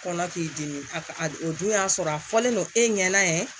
Kɔnɔ k'i dimi o dun y'a sɔrɔ a fɔlen don e ɲɛna